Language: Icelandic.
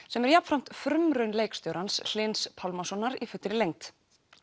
sem er jafnframt frumraun leikstjórans Hlyns Pálmasonar í fullri lengd